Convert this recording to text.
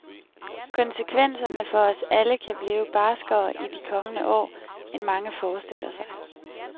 Konsekvenserne for os alle kan blive barskere i de kommende år, end mange forestiller sig.